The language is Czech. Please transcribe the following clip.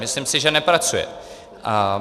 Myslím si, že nepracuje.